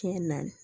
Kɛ na